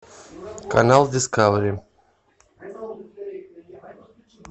канал дискавери